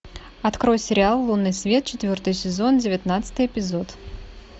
открой сериал лунный свет четвертый сезон девятнадцатый эпизод